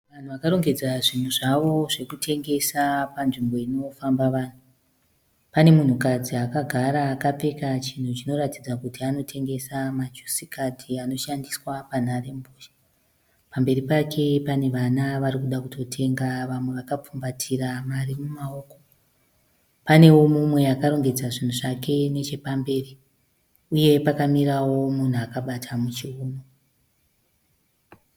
Vanhu vakarongedza zvinhu zvavo zvekutengesa panzvimbo inofamba vanhu . Pane munhukadzi akagara akapfeka chinhu chinoratidza kuti anotengesa majusi kadhi anoshandiswa panharembozha. Pamberi pake panevana varikuda kutotenga vamwe vakapfumbatira mari mumaoko . Panewo mumwe akarongedza zvinhu zvake nechepamberi . Uye pakamirawo munhu akabata muchiuno.